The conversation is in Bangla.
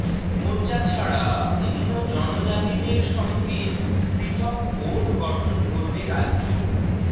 মোর্চা ছাড়া অন্য জনজাতিদের সঙ্গে পৃথক বোর্ড গঠন করবে রাজ্য